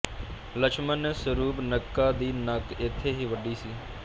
ਲੱਛਮਨ ਨੇ ਸਰੂਪ ਨਕਾ ਦੀ ਨਕ ਇੱਥੇ ਹੀ ਵਡੀ ਸੀ